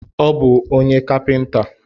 Ọ bụ onye kapinta